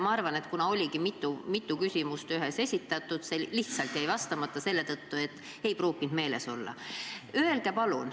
Ma arvan, et kuna oli mitu küsimust koos esitatud, siis see jäi vastamata lihtsalt selle tõttu, et ei pruukinud meeles olla.